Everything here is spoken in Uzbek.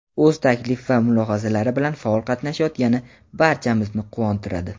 o‘z taklif va mulohazalari bilan faol qatnashayotgani barchamizni quvontiradi.